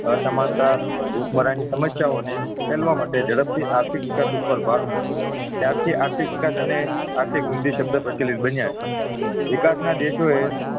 અસમાનતા ભૂખમરા ની સમસ્યા ને ઉકેલવ માટે ઝડપથી આર્થિક વિકાસ ઉપ્પર ભાર મુક્યો ત્યારથી આર્થિક વિકાસ અને આર્થિક વૃદ્ધિ પ્રચલિત બન્યો છે વિકાસના દેશો એ